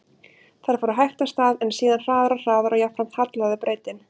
Þær fóru hægt af stað, en síðan hraðar og hraðar og jafnframt hallaði brautin.